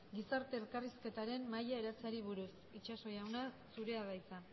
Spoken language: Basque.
gizarte elkarrizketaren mahaia eratzeari buruz